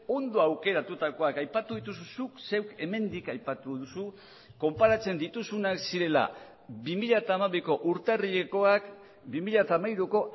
ondo aukeratutakoak aipatu dituzu zuk zeuk hemendik aipatu duzu konparatzen dituzunak zirela bi mila hamabiko urtarrilekoak bi mila hamairuko